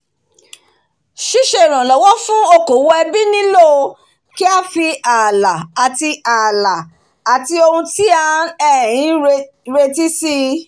síse ìrànlówó owó fún okòwò ẹbí nílò kí á fi alà àtì ohun alà àtì ohun tí a um retí síi